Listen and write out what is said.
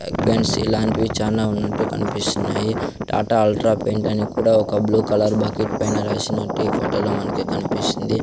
Paints ఇలాంటివి చానా ఉన్నట్టు కన్పిస్తున్నాయి టాటా అల్ట్రా పెయింట్ అని కూడా ఒక బ్లూ కలర్ బకెట్ పైన రాసినట్టు ఈ ఫోటో లో మనకి కన్పిస్తుంది.